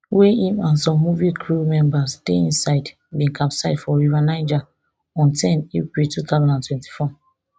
wey im and some movie crew members dey inside bin capsize for river niger on ten april two thousand and twenty-four